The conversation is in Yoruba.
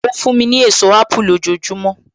Ó fún mi ní èso apu lójojúmọ́.